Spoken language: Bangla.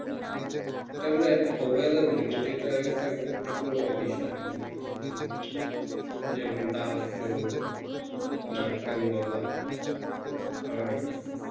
এটা আমরা অবহেলা করি কিন্তু এটা একটা গুরুত্বপূর্ণ বিষয় আমাদের দেশের জন্য যেমন দাঁত চোখ নাক কান গলা হার্ট